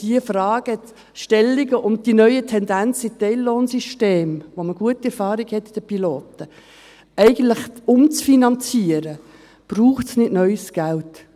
Für diese Fragestellungen und die neuen Tendenzen in Teillohnsystemen, bei denen man mit den Pilotprojekten eigentlich gute Erfahrungen damit hat, umzufinanzieren, braucht es nicht neues Geld.